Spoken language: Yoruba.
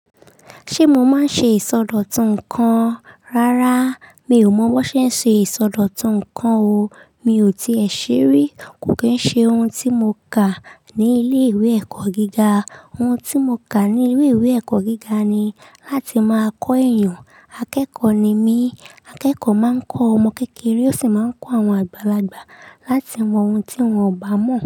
Ṣé mo máa ń ṣe ìsọdọ̀tun nǹkan? Rárá, mi ò mọ̀ bón ṣe ń ṣe ìsọdọ̀tun nǹkan o. Mi ò tí è ṣe rí. Kò kí ń ṣe ohun tí mo kà ní ilé ìwé ẹ̀kọ́ gíga. Ohun tí mo kà ní ilé ìwé ẹ̀kọ́ gíga ni láti máa kọ èèyàn. Akẹ́kọ̀ọ́ ni mí. Akẹ́kọ̀ọ́ máa ń kọ ọmọ kékeré ó sì máa ń kọ àwọn àgbàlagbà láti mọ ohun tí wọ́n ò bá mọ̀.